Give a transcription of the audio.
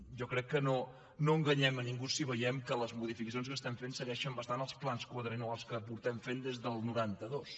jo crec que no enganyem a ningú si veiem que les modificacions que fem segueixen bastant els plans quadriennals que fem des del noranta dos